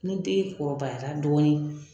Ne den kɔrɔbayara dɔɔnin